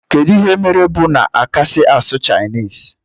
Kedu ihe mere bu na akasi asụ chinese?